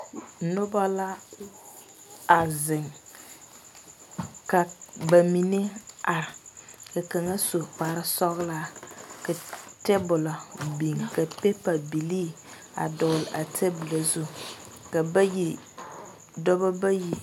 Noba la a zeŋ, ka ba mine are ka kaŋa su kpare sɔglaa ka tabulo biŋ ka paper bilee dɔgle a tabulo zu ka bayi dɔɔba bayi.